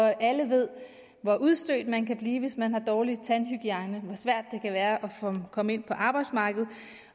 er alle ved hvor udstødt man kan blive hvis man har en dårlig tandhygiejne og hvor svært det kan være at komme ind på arbejdsmarkedet